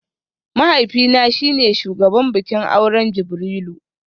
Mahaifina shi ne shugaban bikin auren Jibrilu